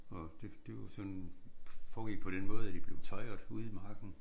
Og det de var sådan foregik på den måde at de blev tøjret ude i marken